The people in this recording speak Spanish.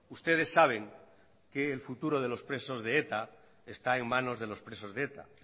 ustedes saben que el futuro de los presos de eta está en manos de los presos de eta